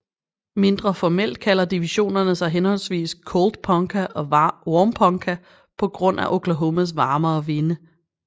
Mindre formelt kalder divisionerne sig henholdsvis Cold Ponca og Warm Ponca på grund af Oklahomas varmere vinde